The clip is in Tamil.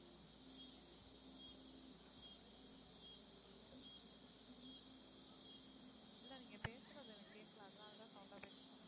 இல்லை நீங்க பேசுறது எனக்கு கேட்கலை அதனாலதான் sound ஆ பேச சொன்னேன்